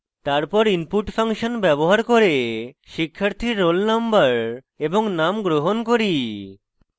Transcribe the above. তারপর input function ব্যবহার করে শিক্ষার্থীর roll _ no এবং name গ্রহণ করি